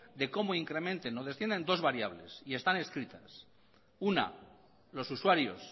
de cómo incrementen o desciendan dos variables y están escritas una los usuarios